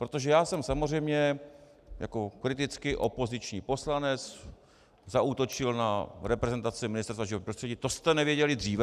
Protože já jsem samozřejmě jako kriticky opoziční poslanec zaútočil na reprezentaci Ministerstva životního prostředí: To jste nevěděli dříve?